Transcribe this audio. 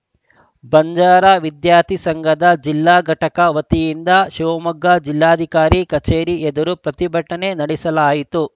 ಬಂಜಾರ ವಿದ್ಯಾರ್ಥಿ ಸಂಘದ ಜಿಲ್ಲಾ ಘಟಕ ವತಿಯಿಂದ ಶಿವಮೊಗ್ಗ ಜಿಲ್ಲಾಧಿಕಾರಿ ಕಚೇರಿ ಎದುರು ಪ್ರತಿಭಟನೆ ನಡೆಸಲಾಯಿತು